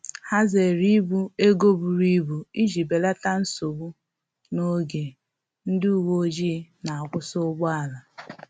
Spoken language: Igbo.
Ha zere ibu ego buru ibu iji belata nsogbu n’oge ndị uweojii na-akwusi ụgbọala